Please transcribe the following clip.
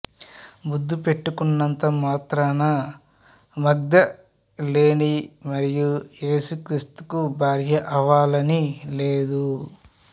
ముద్దు పెట్టుకున్నంత మాత్రాన మగ్ధలేని మరియ ఏసు క్రీస్తుకు భార్య అవ్వాలని లేదు